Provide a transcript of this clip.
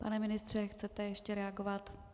Pane ministře, chcete ještě reagovat?